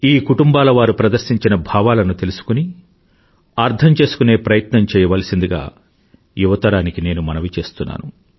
ఈ కుటుంబాల వారు ప్రదర్శించిన భావాలను తెలుసుకుని అర్థం చేసుకునే ప్రయత్నం చెయ్యవలసిందిగా యువతరానికి నేను మనవి చేస్తున్నాను